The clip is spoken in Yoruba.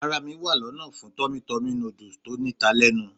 Ara mi wa lona fún Tummy Tummy noodles tó ní ta lenu.